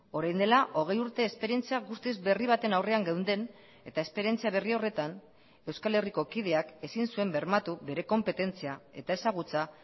orain dela hogei urte esperientzia guztiz berri baten aurrean geunden eta esperientzia berri horretan euskal herriko kideak ezin zuen bermatu bere konpetentzia eta ezagutza